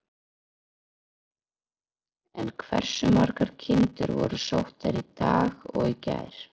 En hversu margar kindur voru sóttar í dag og í gær?